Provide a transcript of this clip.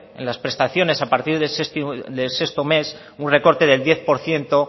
en las prestaciones a partir del sexto mes un recorte del diez por ciento